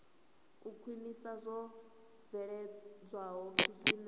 u khwinisa zwo bveledzwaho zwine